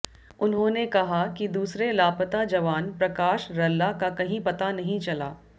उन्होंने कहा कि दूसरे लापता जवान प्रकाश रल्ला का कहीं पता नहीं चला